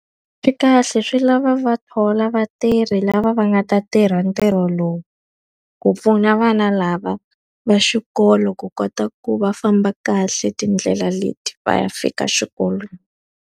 Swi kahle swi lava va thola vatirhi lava va nga ta tirha ntirho lowu. Ku pfuna vana lava va xikolo ku kota ku va famba kahle tindlela leti va ya fika xikolweni.